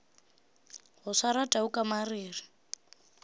go swara tau ka mariri